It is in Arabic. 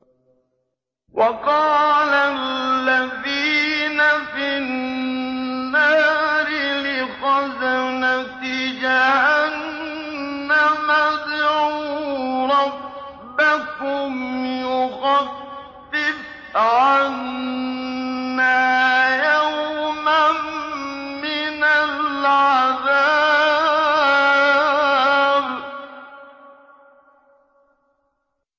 وَقَالَ الَّذِينَ فِي النَّارِ لِخَزَنَةِ جَهَنَّمَ ادْعُوا رَبَّكُمْ يُخَفِّفْ عَنَّا يَوْمًا مِّنَ الْعَذَابِ